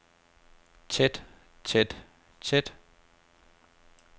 tæt tæt tæt